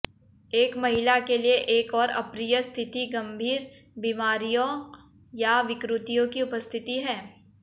एक महिला के लिए एक और अप्रिय स्थिति गंभीर बीमारियों या विकृतियों की उपस्थिति है